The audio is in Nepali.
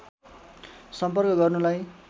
सम्पर्क गर्नुलाई